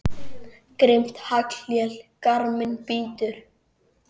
Grimmt haglél garminn bítur.